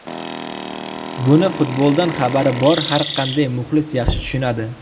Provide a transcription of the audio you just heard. Buni futboldan xabari bor har qanday muxlis yaxshi tushunadi.